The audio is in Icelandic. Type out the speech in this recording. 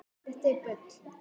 Þetta er bull.